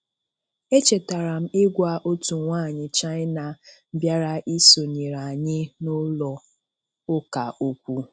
Echetara m igwa otu nwanyị China bịara isonyere anyị n'ụlọụka okwu.